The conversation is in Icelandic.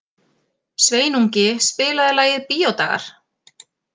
Sveinungi, spilaðu lagið „Bíódagar“.